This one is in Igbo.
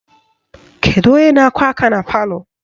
Kedu onye na-akụ aka na palọ?